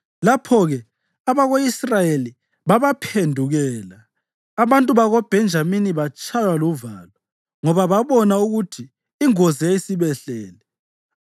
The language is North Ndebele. Lapho-ke abako-Israyeli babaphendukela, abantu bakoBhenjamini batshaywa luvalo, ngoba babona ukuthi ingozi yayisibehlele.